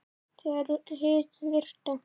Þegar hið virta